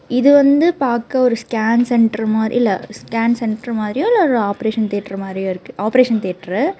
இது வந்து பாக்க ஒரு ஸ்கேன் சென்டர் மாரி இல்ல ஸ்கேன் சென்டர் மாரியோ இல்ல ஆபரேஷன் தியேட்டர் மாரியோ இருக்கு ஆபரேஷன் தியேட்டரு .